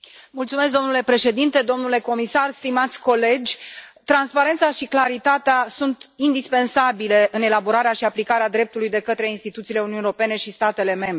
Domnule președinte, domnule comisar, stimați colegi, transparența și claritatea sunt indispensabile în elaborarea și aplicarea dreptului de către instituțiile Uniunii Europene și statele membre.